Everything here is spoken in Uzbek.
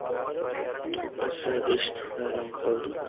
To‘g‘risi, eshitib hayron qoldim.